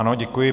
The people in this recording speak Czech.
Ano, děkuji.